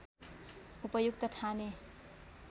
उपयुक्त ठानेँ